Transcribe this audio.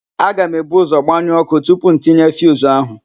Aga m ebu ụ́zọ̀ gbanyụọ ọ́kụ́ tupu m tinye fiuzu ahụ.